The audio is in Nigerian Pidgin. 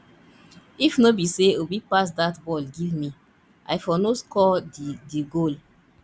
if no be say obi pass dat ball give me i for no score the the goal